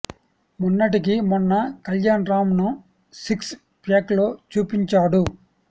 మొన్నటికి మొన్న కల్యాణ్ రామ్ ను సిక్స్ ప్యాక్ లో చూపించాడు